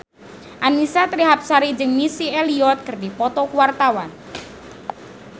Annisa Trihapsari jeung Missy Elliott keur dipoto ku wartawan